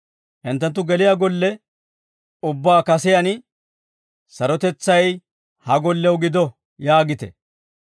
«Hinttenttu geliyaa golle ubbaa kasiyaan, ‹Sarotetsay ha gollew gido› yaagite.